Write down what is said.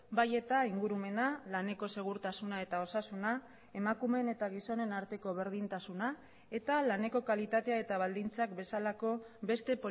bai eta ingurumena laneko segurtasuna eta osasuna emakumeen eta gizonen arteko berdintasuna eta laneko kalitatea eta baldintzak bezalako beste